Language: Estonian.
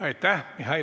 Aitäh!